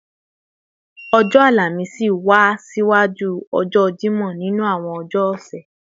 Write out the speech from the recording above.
ọjọ́ Àlàmísì wá ṣiwájú ọjọ́ Jímọ̀ nínú àwọn ọjọ́ ọ̀sẹ̀